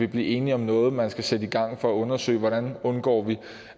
blive enige om noget man skal sætte i gang for at undersøge hvordan vi undgår